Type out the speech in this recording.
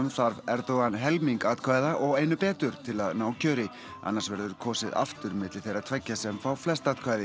þarf Erdogan helming atkvæða og einu betur til að ná kjöri annars verður kosið aftur milli þeirra tveggja sem fá flest atkvæði